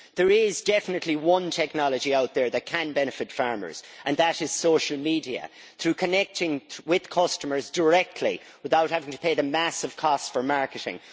There is definitely one technology out there that can benefit farmers, and that is social media, which make it possible to connect with customers directly without having to pay massive costs for marketing.